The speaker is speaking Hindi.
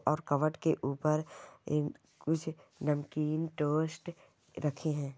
और कबर्ड के ऊपर ए कुछ नमकीन टोस्ट रखे हैं।